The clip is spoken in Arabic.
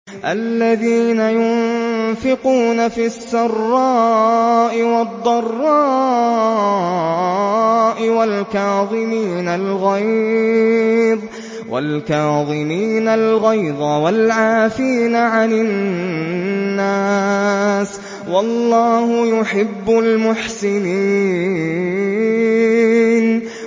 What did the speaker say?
الَّذِينَ يُنفِقُونَ فِي السَّرَّاءِ وَالضَّرَّاءِ وَالْكَاظِمِينَ الْغَيْظَ وَالْعَافِينَ عَنِ النَّاسِ ۗ وَاللَّهُ يُحِبُّ الْمُحْسِنِينَ